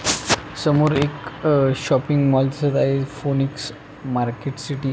समोर एक shopping mall दिसत आहे फोनिक्स मार्केट सिटि --